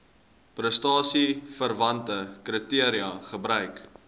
prestasieverwante kriteria gebruik